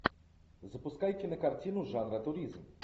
запускай кинокартину жанра туризм